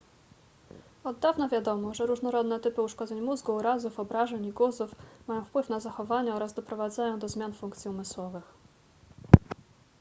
od dawna wiadomo że różnorodne typy uszkodzeń mózgu urazów obrażeń i guzów mają wpływ na zachowanie oraz doprowadzają do zmian funkcji umysłowych